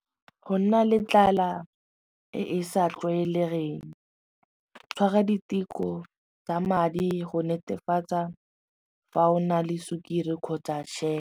Go nna le tlala e e sa tlwaelegeng tshwara diteko tsa madi go netefatsa fa o na le sukiri kgotsa .